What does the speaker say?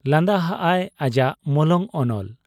ᱞᱟᱸᱫᱟ ᱦᱟᱜ ᱟᱭ ᱟᱡᱟᱜ ᱢᱚᱞᱚᱝ ᱚᱱᱚᱞ ᱾